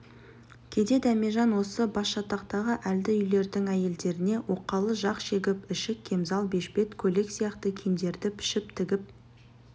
кейде дәмежан осы басжатақтағы әлді үйлердің әйелдеріне оқалы жақ шегіп ішік кемзал бешбет көйлек сияқты киімдерді пішіп тігіп